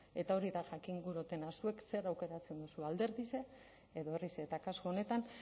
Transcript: eta hori da jakin gura dotena zuek zer aukeratzen duzue alderdixe edo herrixe eta kasu honetan